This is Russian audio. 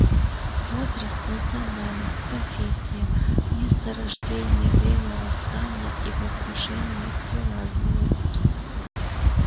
возраст национальность профессия место рождения время восстания и возвышения всё разное